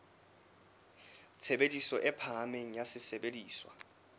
tshebediso e phahameng ya sesebediswa